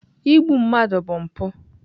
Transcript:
Igbu mmadụ bụ mpụ.